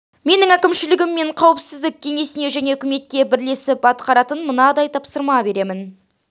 менің әкімшілігім мен қауіпсіздік кеңесіне және үкіметке бірлесіп атқаратын мынадай тапсырма беремін